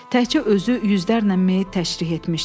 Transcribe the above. Təkcə özü yüzlərlə meyit təşrih etmişdi.